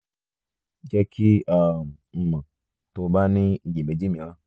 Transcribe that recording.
jẹ ki um n mọ ti o ba ni iyemeji miiran